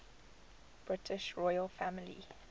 british royal family